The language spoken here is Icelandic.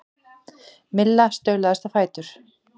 Milla staulaðist á fætur.